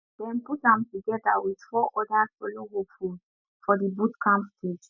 dem put am together with four other solo hopefuls for di boot camp stage